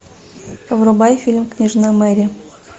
врубай фильм княжна мэри